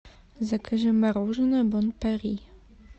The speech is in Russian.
закажи мороженое бон пари